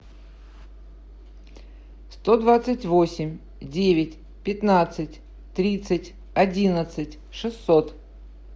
сто двадцать восемь девять пятнадцать тридцать одиннадцать шестьсот